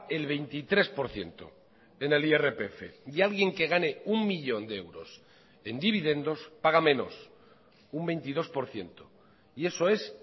el veintitrés por ciento en el irpf y alguien que gane uno millón de euros en dividendos paga menos un veintidós por ciento y eso es